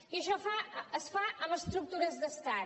i això es fa amb estructures d’estat